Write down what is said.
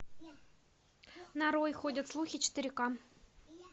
нарой ходят слухи четыре к